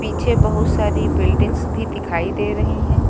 पीछे बहुत सारी बिल्डिंग्स भी दिखाई दे रही हैं।